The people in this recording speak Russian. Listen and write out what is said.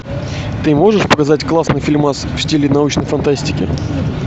ты можешь показать классный фильмас в стиле научной фантастики